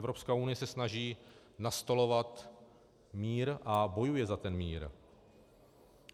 Evropská unie se snaží nastolovat mír a bojuje za ten mír.